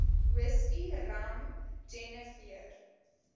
whisky rum jenewer